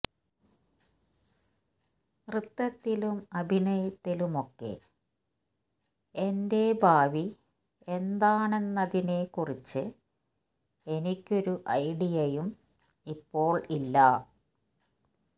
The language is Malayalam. നൃത്തത്തിലും അഭിനയത്തിലുമൊക്കെ എന്റെ ഭാവി എന്താണെന്നതിനെക്കുറിച്ച് എനിക്കൊരു ഐഡിയയും ഇപ്പോള് ഇല്ല